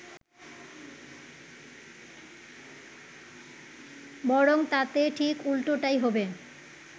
বরং তাতে ঠিক উল্টোটাই হবে